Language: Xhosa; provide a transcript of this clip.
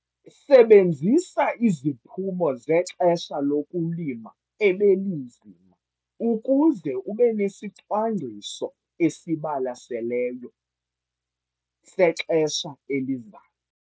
Sebenzisa iziphumo zexesha lokulima ebelinzima ukuze ube nesicwangciso esibalaseleyo sexesha elizayo.